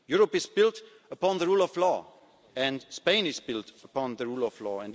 of Spain. Europe is built upon the rule of law and Spain is built upon the rule